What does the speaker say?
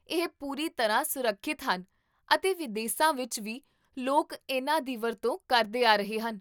ਇਹ ਪੂਰੀ ਤਰ੍ਹਾਂ ਸੁਰੱਖਿਅਤ ਹਨ ਅਤੇ ਵਿਦੇਸਾਂ ਵਿਚ ਵੀ ਲੋਕ ਇਨ੍ਹਾਂ ਦੀ ਵਰਤੋਂ ਕਰਦੇ ਆ ਰਹੇ ਹਨ